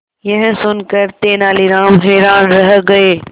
यह सुनकर तेनालीराम हैरान रह गए